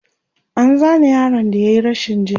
an Zane yaron da yayi rashin ji